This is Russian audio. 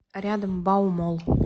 рядом баумолл